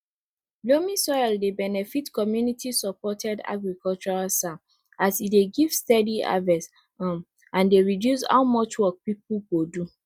loamy soil dey benefit communitysupported agriculture csa as e dey give steady harvest um and dey reduce how much work pipu go do